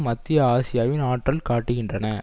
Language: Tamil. மத்திய ஆசியாவின் ஆற்றல் காட்டுகின்றன